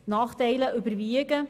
Die Nachteile überwiegen.